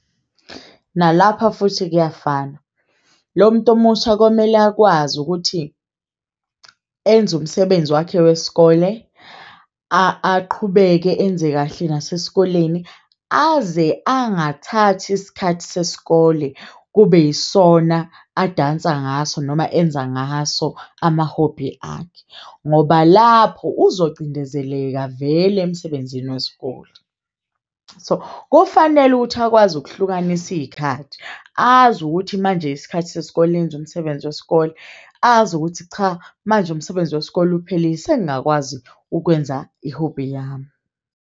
Nalapha futhi kuyafana. Lo muntu omusha komele akwazi ukuthi enze umsebenzi wakhe wesikole, aqhubeke enze kahle nasesikoleni. Aze angathathi isikhathi sesikole kube yisona adansa ngaso noma enza ngaso amahobhi akhe ngoba lapho uzocindezeleka vele emsebenzini wesikole. So kufanele ukuthi akwazi ukuhlukanisa iy'khathi azi ukuthi manje isikhathi sesikole enze umsebenzi wesikole azi ukuthi cha manje umsebenzi wesikole uphelile sengingakwazi ukwenza ihobhi yami.